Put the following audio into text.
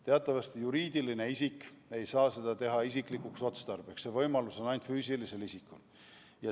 Teatavasti juriidiline isik ei saa midagi alla laadida isiklikuks otstarbeks, see võimalus on ainult füüsilisel isikul.